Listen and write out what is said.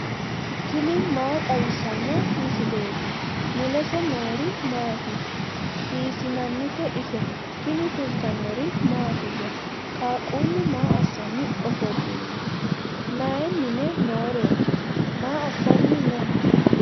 tini maa xawissanno misileeti ? mulese noori maati ? hiissinannite ise ? tini kultannori mattiya? qaaqullu maa assanni ofolinno? mayi mine nooreti? maa assanni noo?